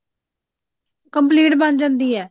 complete ਬਣ ਜਾਂਦੀ ਹੈ